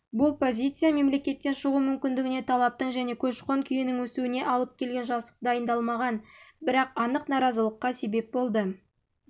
бұл позиция мемлекеттен шығу мүмкіндігіне талаптың және көші қон күйінің өсуіне алып келген жасық дайындалмаған бірақ анық наразылыққа себеп